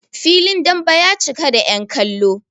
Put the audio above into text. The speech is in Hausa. filin dambe ya cika da yankallo